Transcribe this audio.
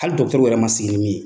Hali dɔkitɔriw yɛrɛ ma sigi min ye.